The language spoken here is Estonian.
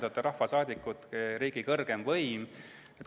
Teie olete rahvasaadikud, riigi kõrgeim võim.